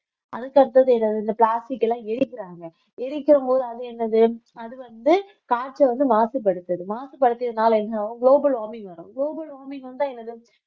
அதுக்கடுத்தது இந்த plastic எல்லாம் எரிக்கிறாங்க எரிக்கிற போது அது என்னது அது வந்து காற்றை வந்து மாசுபடுத்துது மாசுபடுத்தியதுனால என்ன ஆகும் global warming வரும் global warming வந்தா என்னது